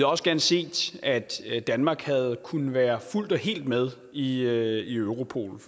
også gerne set at danmark kunne være fuldt og helt med i europol